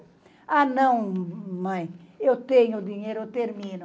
Ah não, mãe, eu tenho o dinheiro, eu termino.